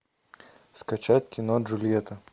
скачать кино джульетта